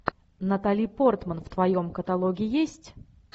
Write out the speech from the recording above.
натали портман в твоем каталоге есть